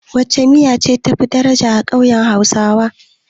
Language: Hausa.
Wacce miya ce tafi daraja a ƙauyen hausawa?